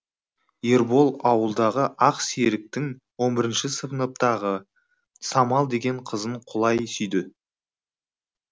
ербол ауылдағы ақ серіктің он бірінші сыныптағы самал деген қызын құлай сүйді